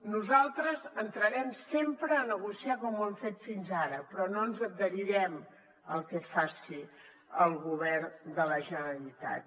nosaltres entrarem sempre a negociar com ho hem fet fins ara però no ens adherirem al que faci el govern de la generalitat